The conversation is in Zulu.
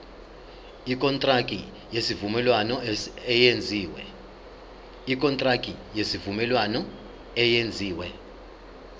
ikontraki yesivumelwano eyenziwe